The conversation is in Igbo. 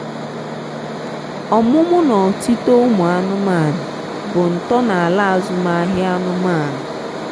ọmụmụ na otito umu anụmanụ bụ ntọo na ala azụm ahia anụmanụ.